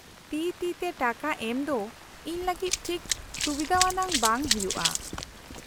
-ᱛᱤ ᱛᱤ ᱛᱮ ᱴᱟᱠᱟ ᱮᱢ ᱫᱚ ᱤᱧ ᱞᱟᱹᱜᱤᱫ ᱴᱷᱤᱠ ᱥᱩᱵᱤᱫᱷᱟᱣᱟᱱᱟᱜ ᱵᱟᱝ ᱦᱩᱭᱩᱜᱼᱟ ᱾